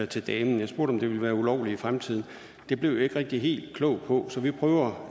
til damen jeg spurgte om det ville være ulovligt i fremtiden det blev jeg ikke rigtig helt klog på så jeg prøver